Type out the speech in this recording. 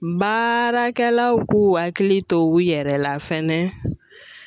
Baarakɛlaw k'u hakili to u yɛrɛ la fɛnɛ